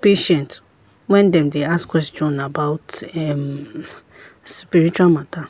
patient when dem dey ask question about um spiritual matter.